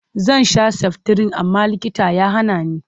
Zan sha saftirin amma likita ya hana ni.